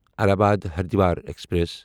Allahabad Haridwar express